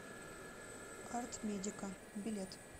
арт медика билет